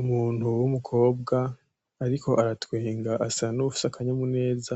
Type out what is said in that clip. Umuntu wumukobwa ariko aratwenga asa nuwufise akanyamuneza